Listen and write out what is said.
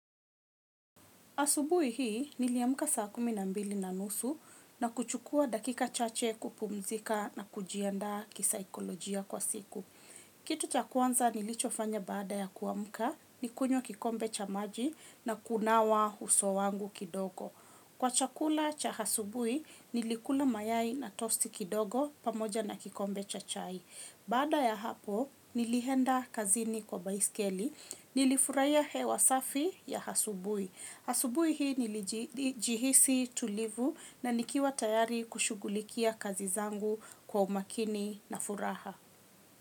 Asubuhi hii niliamka saa kumi na mbili na nusu na kuchukua dakika chache kupumzika na kujiandaa kisaikolojia kwa siku. Kitu cha kwanza nilichofanya baada ya kuamka ni kunywa kikombe cha maji na kunawa uso wangu kidogo. Kwa chakula cha asubuhi nilikula mayai na tosti kidogo pamoja na kikombe cha chai. Baada ya hapo nilienda kazini kwa baiskeli nilifurahia hewa safi ya asubuhi. Asubuhi hii nilijihisi tulivu na nikiwa tayari kushughulikia kazi zangu kwa umakini na furaha.